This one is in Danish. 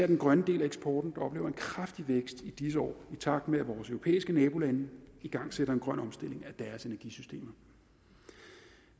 den grønne del af eksporten der oplever en kraftig vækst i disse år i takt med at vores europæiske nabolande igangsætter en grøn omstilling af deres energisystemer